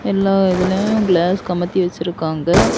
எல்லா இதுலயு கிளாஸ் கமுத்தி வச்சிருக்காங்க.